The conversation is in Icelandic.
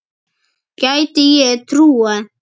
Gæti ég trúað.